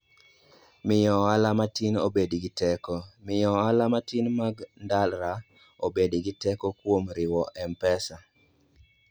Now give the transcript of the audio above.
Miyo Ohala Matin Obed gi Teko: Miyo ohala matin mag ndara obed gi teko kuom riwo M-Pesa.